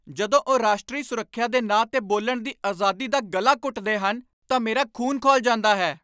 ਜਦੋਂ ਉਹ ਰਾਸ਼ਟਰੀ ਸੁਰੱਖਿਆ ਦੇ ਨਾਂ 'ਤੇ ਬੋਲਣ ਦੀ ਆਜ਼ਾਦੀ ਦਾ ਗਲਾ ਘੁੱਟਦੇ ਹਨ ਤਾਂ ਮੇਰਾ ਖ਼ੂਨ ਖੌਲ ਜਾਂਦਾ ਹੈ।